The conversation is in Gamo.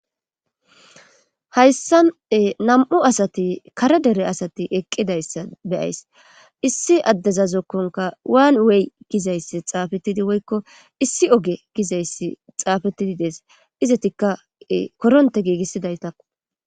Hayssan nam7u asati kare dere asati eqqidayssa beyays issi addeza zokkonka waan wey gizayssi xaafettidi woykko issi oge gizayssi xaafettidi dees izatikka koronte giigissidaytak.